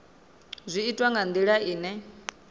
zwi itwa nga ndila ine